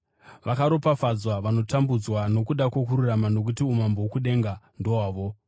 Vakaropafadzwa vanotambudzwa nokuda kwokururama nokuti umambo hwokudenga ndohwavo.